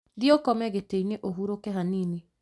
Thiĩ ũkome gĩtĩinĩ, ũhurũke hanini